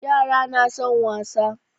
Yara na son wasa.